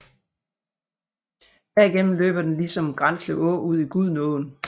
Derigennem løber den ligesom Granslev Å ud i Gudenåen